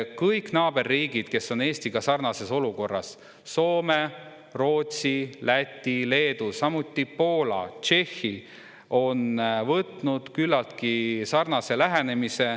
Kõik naaberriigid, kes on Eestiga sarnases olukorras – Soome, Rootsi, Läti, Leedu, samuti Poola ja Tšehhi – on võtnud küllaltki sarnase lähenemise.